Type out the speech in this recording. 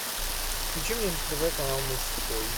включи мне на тв канал мужской